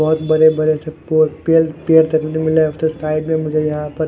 बहुत बड़े-बड़े से पेड़ देखने को मिल रहे हैं साइड में यहां पर--